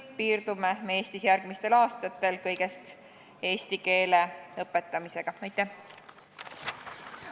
Kas me piirdume Eestis järgmistel aastatel kõigest eesti keele õpetamisega?